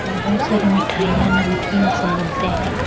यहाँ बहुत सारी मिठाइयां नमकीन सब मिलते हैं।